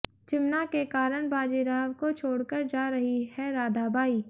चिमना के कारण बाजीराव को छोड़कर जा रही है राधाबाई